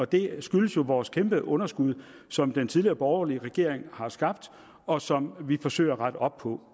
det skyldes jo vores kæmpe underskud som den tidligere borgerlige regering har skabt og som vi forsøger at rette op på